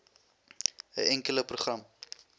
n enkele program